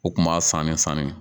U tun b'a fan bɛɛ faamuya